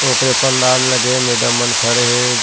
ओकरे पंडाल लगे हे मैडम मन खड़े हे।